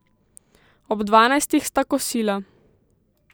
Ob dvanajstih sta kosila.